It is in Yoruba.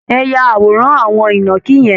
Ẹ ya àwòrán àwọn ìnàkí yẹn!